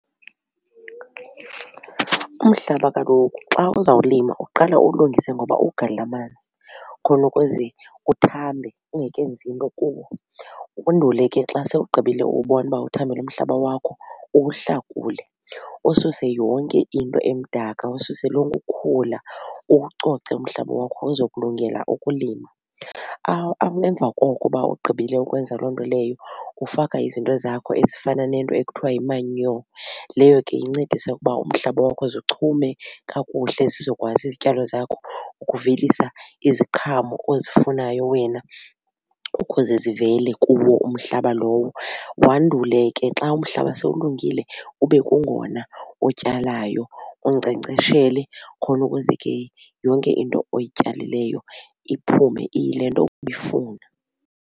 Umhlaba kaloku xa uzawulima uqala uwulungise ngoba uwugalele amanzi khona ukuze uthambe ungekenzi nto kuwo. Undule ke xa sewugqibile uwubona uba uthambile umhlaba wakho uwuhlakule ususe yonke into emdaka ususe lonke ukhula uwucoce umhlaba wakho uzokulungela ukulima. Emva koko uba ugqibile ukwenza loo nto leyo ufaka izinto zakho ezifana nento ekuthiwa yi-manure. Leyo ke incedise ukuba umhlaba wakho uze uchume kakuhle zizokwazi izityalo zakho ukuvelisa iziqhamo ozifunayo wena ukuze zivele kuwo umhlaba lowo. Wandule ke xa umhlaba sewulungile ube kungona utyalayo unkcenkceshele khona ukuze ke yonke into oyityalileyo iphume iyile nto ubuyifuna.